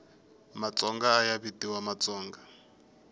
matsonga ayavitiwa matsonga